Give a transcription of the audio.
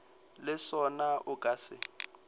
le sona o ka se